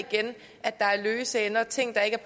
igen at der er løse ender og ting der ikke